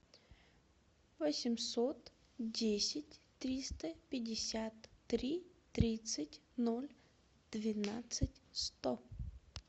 восемьсот десять триста пятьдесят три тридцать ноль двенадцать сто